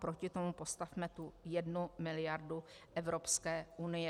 Proti tomu postavme tu jednu miliardu Evropské unie.